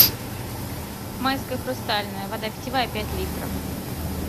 майская хрустальная вода питьевая пять литров